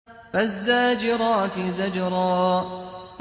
فَالزَّاجِرَاتِ زَجْرًا